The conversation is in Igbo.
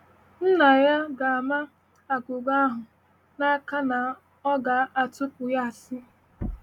Nna ya ga - ama aghụghọ ahụ n’aka na ọ ga - atụpụ ya asị!